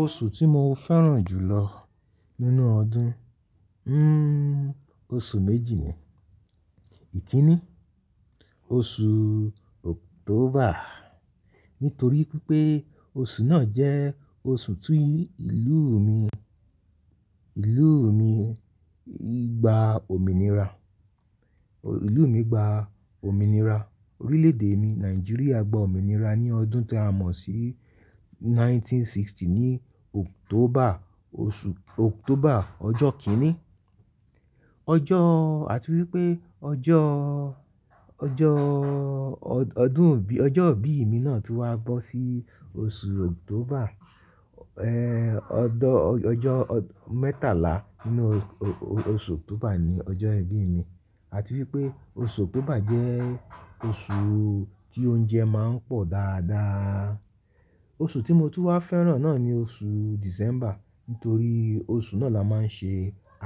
Oṣù tí mo fẹ́ràn jù lọ nínú ọdún, oṣù méjì ni. Ìkínni, oṣù October nítorí pé oṣù náà jẹ́ oṣù tí ìlú mi, ìlú mi gba òmìnira, ìlú mi gba òmìnira. Orílẹ̀ èdè mi Nigeria gba òmìnira ní ọdún tí a mọ̀ sí 1960 ní October, oṣù October ọjọ́ kìnní. Ọjọ́, àti wípé ọjọ́, ọjọ́ ọdún ọjọ́ ìbí mi náà ti wá bọ́ sí oṣù October. Ọdọ ọjọ́ mẹ́tàlá nínú oṣù October ni ọjọ́ ìbí mi. Àti wípé oṣù October jẹ́ oṣù tí oúnjẹ máa ń pọ̀ dáadáa. Oṣù tí mo ti wá fẹ́ràn náà ni oṣù December nítorí oṣù náà la máa ń ṣe